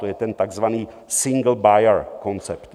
To je ten takzvaný single buyer koncept.